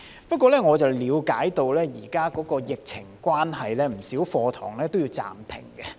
不過，我了解到現時由於疫情關係，不少課堂也要暫停。